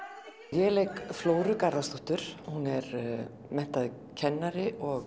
ég leik flóru Garðarsdóttur hún er menntaður kennari og